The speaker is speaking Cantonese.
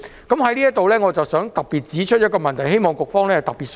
我想在這裏指出一個問題，希望局方特別注意。